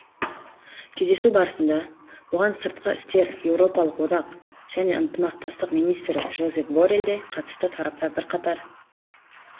кездесу барысында оған сыртқы істер еуропалық одақ және ынтымақтастық министрі жозеп борелл де қатысты тараптар бірқатар